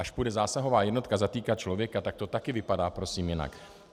Až půjde zásahová jednotka zatýkat člověka, tak to taky vypadá prosím jinak.